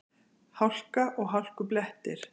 Hálka og hálkublettir